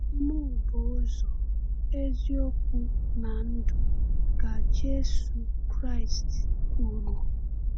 “Mụ bụ ụzọ, eziokwu, na ndụ,” ka Jésù Kraịst kwuru.